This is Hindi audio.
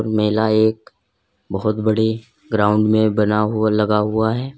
मेला एक बहोत बड़े ग्राउंड में बना हुआ लगा हुआ है।